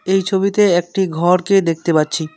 এই ছবিতে একটি ঘরকে দেখতে পাচ্ছি।